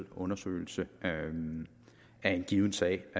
undersøgelse af en given sag